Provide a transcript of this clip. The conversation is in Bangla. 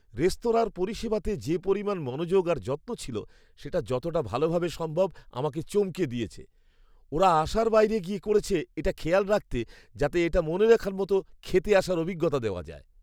রেস্তোরাঁর পরিষেবাতে যে পরিমাণ মনোযোগ আর যত্ন ছিল সেটা যতটা ভালোভাবে সম্ভব আমাকে চমকে দিয়েছে! ওঁরা আশার বাইরে গিয়ে করেছে এটা খেয়াল রাখতে যাতে একটা মনে রাখার মতো খেতে আসার অভিজ্ঞতা দেওয়া যায়!